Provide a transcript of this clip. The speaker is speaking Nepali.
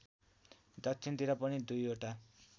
दक्षिणतिर पनि दुईवटा